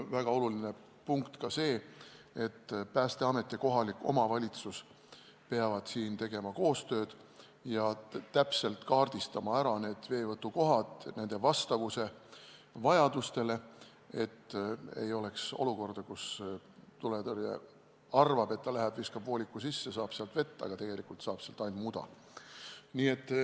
Väga oluline punkt on ka see, et Päästeamet ja kohalik omavalitsus peavad siin koostööd tegema ja täpselt kaardistama veevõtukohad ning tagama nende vastavuse vajadustele, et ei oleks olukorda, kus tuletõrje arvab, et ta läheb viskab vooliku sisse ja saab sealt vett, aga tegelikult saab sealt ainult muda.